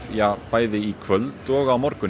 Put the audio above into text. í kvöld og á morgun